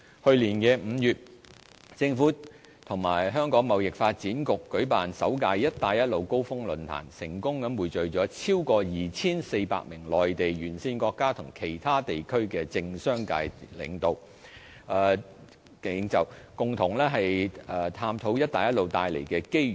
去年5月，政府與香港貿易發展局舉辦首屆"一帶一路"高峰論壇，成功匯聚超過 2,400 名內地、沿線國家及其他地區的政商界領袖，共同探討"一帶一路"帶來的機遇。